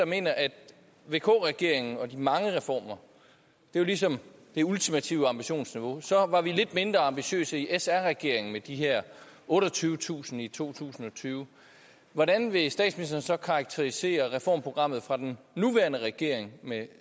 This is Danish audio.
mener at vk regeringen og dens mange reformer ligesom det ultimative ambitionsniveau så var vi lidt mindre ambitiøse i sr regeringen med de her otteogtyvetusind i to tusind og tyve hvordan vil statsministeren så karakterisere reformprogrammet fra den nuværende regering med